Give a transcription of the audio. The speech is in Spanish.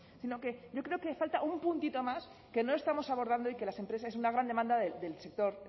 sino que yo creo que falta un puntito más que no estamos abordando y que las empresas es una gran demanda del sector